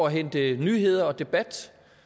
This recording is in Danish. at hente nyheder og debat